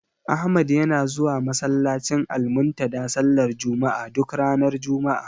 Ahmad yana zuwa masallacin Almuntadha sallar juma'a, duk ranar juma'a.